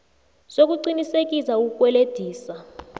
sokuqinisekisa ukukwelediswa